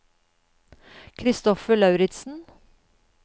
Kristoffer Lauritzen